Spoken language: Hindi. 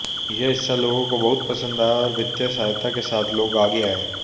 यह हिस्सा लोगों को बहुत पसंद आया और वित्तीय सहायता के साथ लोग आगे आए